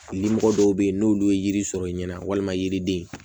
Limɔgɔ dɔw bɛ yen n'olu ye yiri sɔrɔ i ɲɛna walima yiriden